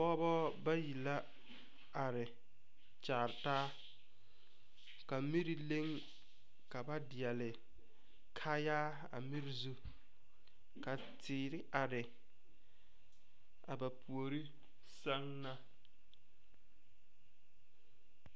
Pɔgɔbɔ bayi la are kyaar taa. Ka mire leŋ ka ba diɛle kaaya a mire zu. Ka teere are a ba pooreŋ seŋ na